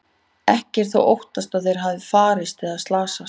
Ekki er þó óttast að þeir hafi farist eða slasast.